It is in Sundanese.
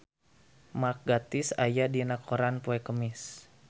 Mark Gatiss aya dina koran poe Kemis